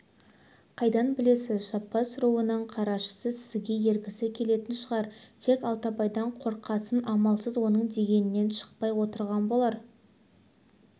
қайдан білесіз жаппас руының қарашысы сізге ергісі келетін шығар тек алтыбайдан қорыққасын амалсыз оның дегенінен шықпай отырған болар